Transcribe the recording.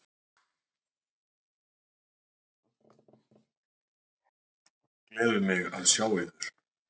Gleður mig að sjá yður.